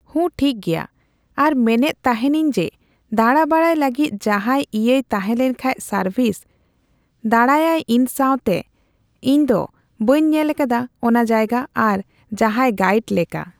ᱦᱩᱸ, ᱴᱷᱤᱠᱜᱮᱭᱟ᱾ ᱟᱨ ᱢᱮᱱᱮᱛ ᱛᱟᱦᱮᱸᱱᱟᱹᱧ ᱡᱮ ᱫᱟᱬᱟ ᱵᱟᱲᱟᱭ ᱞᱟᱹᱜᱤᱫ ᱡᱟᱦᱟᱸᱭ ᱤᱭᱟᱹᱭ ᱛᱟᱦᱮᱸᱞᱮᱱᱠᱷᱟᱡ ᱥᱟᱨᱵᱷᱤᱥ, ᱫᱟᱬᱟᱭᱟᱭ ᱤᱧ ᱥᱟᱣᱛᱮᱜ, ᱤᱧ ᱫᱚ ᱵᱟᱹᱧ ᱧᱮᱞ ᱠᱟᱫᱟ ᱚᱱᱟ ᱡᱟᱭᱜᱟ ᱟᱨᱚ ᱡᱟᱦᱟᱸᱭ ᱜᱟᱭᱤᱰ ᱞᱮᱠᱟ᱾